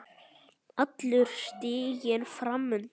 Allur stiginn fram undan.